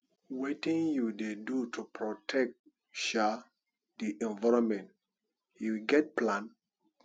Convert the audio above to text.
wetin you dey do to protect um di environment you get plan